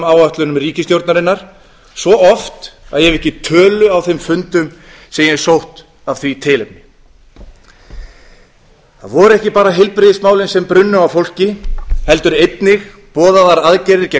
áætlunum ríkisstjórnarinnar svo oft að ég hef ekki tölu á þeim fundum sem ég hef sótt af því tilefni það voru ekki bara heilbrigðismálin sem brunnu á fólki heldur einnig boðaðar aðgerðir gegn